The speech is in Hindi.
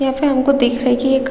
यहाँ पे हमको दिख रहा है की एक --